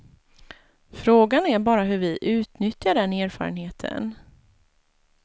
Frågan är bara hur vi utnyttjar den erfarenheten.